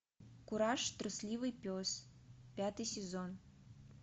кураж трусливый пес пятый сезон